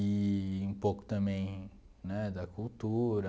Eee um pouco também né da cultura.